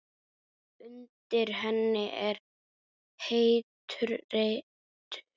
Undir henni er heitur reitur.